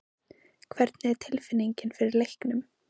Hvernig er tilfinningin fyrir leiknum?